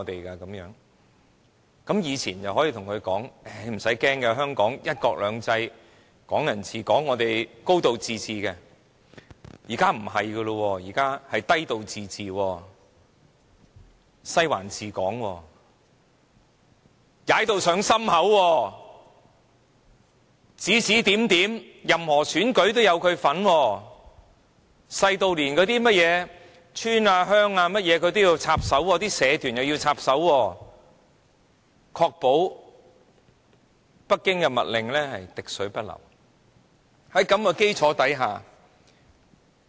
"過往你可以告訴他："不用怕，香港'一國兩制'、'港人治港'及'高度自治'"；但現在不是的，是"低度自治"、"'西環'治港"及"踩到上心口"，任何選舉它也有份，指指點點，小至甚麼村或鄉的事宜也要插手，社團又要插手，確保北京的密令滴水不漏。